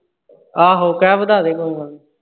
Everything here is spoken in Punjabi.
ਆਹੋ ਕਹਿ ਵਧਾਦੇ ਕੋਈ ਗੱਲ ਨਹੀਂ।